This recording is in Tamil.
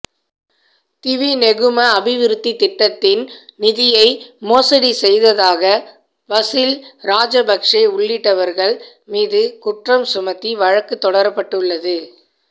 திவிநெகும அபிவிருத்தித் திட்டத்தின் நிதியை மோசடி செய்ததாக பசில் ராஜபக்ச உள்ளிட்டவர்கள் மீது குற்றம் சுமத்தி வழக்குத் தொடரப்பட்டுள்ளது